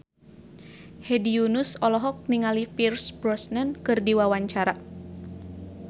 Hedi Yunus olohok ningali Pierce Brosnan keur diwawancara